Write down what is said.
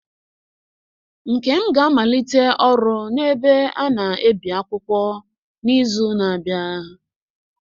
Nkem ga-amalite ọrụ n'ebe a na-ebi akwụkwọ n'izu na-abịa.